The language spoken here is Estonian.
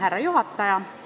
Härra juhataja!